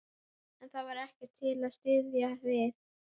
En það var ekkert til að styðjast við.